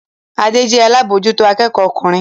Adé jẹ́ alábòójútó akẹ́kọ̀ọ́ ọkùnrin